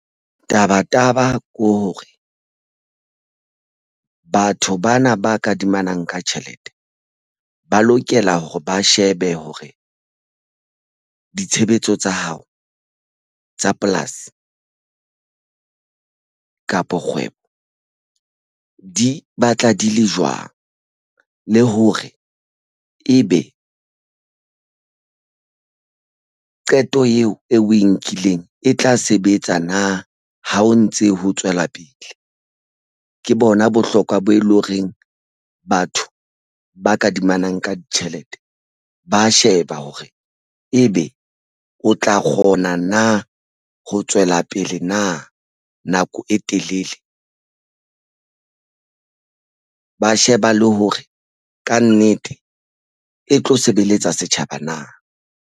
Tabataba ke hore batho bana ba kadimanang ka tjhelete ba lokela hore ba shebe hore ditshebetso tsa hao tsa polasi kapo kgwebo di batla di le jwang le hore ebe qeto eo e o e nkileng e tla sebetsa na ha o ntse ho tswela pele ke bona bohlokwa bo e leng horeng batho ba kadimanang ka ditjhelete ba sheba hore ebe o tla kgona na ho tswa fela pele na nako e telele ba sheba le hore kannete e tlo sebeletsa setjhaba na.